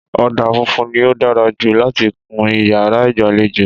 Ọ̀dà funfun ni ó dára jù láti kun yàrá ìgbàlejò